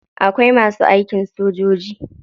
Akwai masu aikin sojoji.